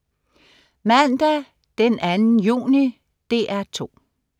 Mandag den 2. juni - DR 2: